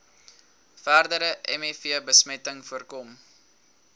verdere mivbesmetting voorkom